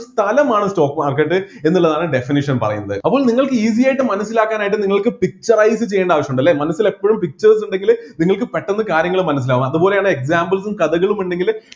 സ്ഥലമാണ് stock market എന്നുള്ളതാണ് definition പറയുന്നത് അപ്പൊ നിങ്ങൾക്ക് easy ആയിട്ട് മനസ്സിലാക്കാനായിട്ട് നിങ്ങൾക്ക് picturise ചെയ്യേണ്ട ആവശ്യം ഉണ്ടല്ലെ മനസ്സിൽ എപ്പോഴും pictures ഉണ്ടെങ്കിൽ നിങ്ങൾക്ക് പെട്ടെന്ന് കാര്യങ്ങൾ മനസ്സിലാവും അതുപോലെ examples ഉം കഥകളും ഉണ്ടെങ്കില്